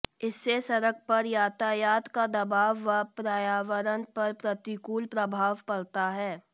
इससे सड़क पर यातायात का दबाव व पर्यावरण पर प्रतिकूल प्रभाव पड़ता है